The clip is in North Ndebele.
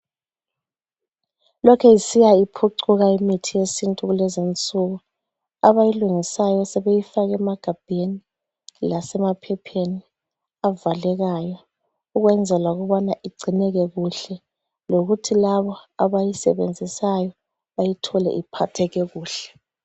Lokhe isiya iphucuka imithi yesintu kulezinsuku. Abayilungisayo sebeyifaka emagabheni, lasemaphepheni avalekayo ukwenzela ukubana igcineke kuhle lokuthi laba abayisebenzisayo bayithole iphatheke kuhle.